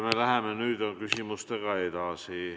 Me lähme nüüd küsimustega edasi.